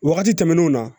Wagati tɛmɛnenw na